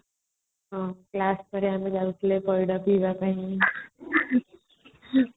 ହୁଁ କ୍ଲାସ ପରେ ଆମେ ଯାଉଥିଲେ ପଇଡ ପିଇବା ପାଇଁ